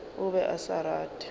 o be a sa rate